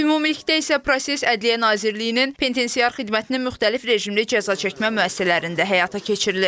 Ümumilikdə isə proses Ədliyyə Nazirliyinin penitensiar xidmətinin müxtəlif rejimli cəzaçəkmə müəssisələrində həyata keçirilir.